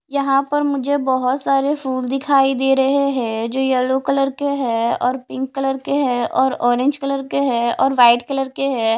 यहां पर मुझे बहुत सारे फूल दिखाई दे रहे हैं जो येलो कलर के हैं और पिंक कलर के हैं और ऑरेंज कलर के हैं और वाइट कलर के हैं।